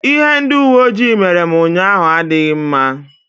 Ihe ndị uwe ojii mere m ụnyaahụ adịghị mma.